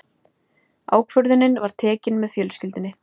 Ákvörðunin var tekin með fjölskyldunni.